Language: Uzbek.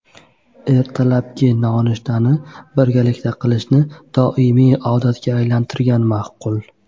Ertalabki nonushtani birgalikda qilishni doimiy odatga aylantirgan ma’qul.